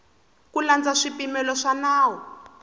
ku landza swipimelo swa nawu